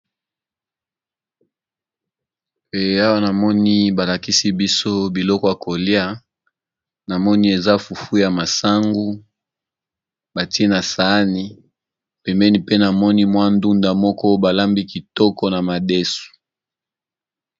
Pe awa namoni balakisi biso biloko ya kolia namoni eza fufu ya masangu batie na saani pembeni pe na moni mwa ndunda moko balambi kitoko na madesu.